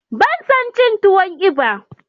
Bana son cin tuwon eba.